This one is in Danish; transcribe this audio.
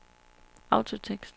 autotekst